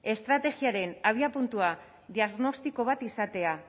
estrategiaren abiapuntua diagnostiko bat izatea